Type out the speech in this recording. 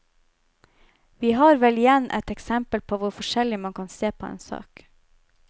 Vi har vel igjen et eksempel på hvor forskjellig man kan se på en sak.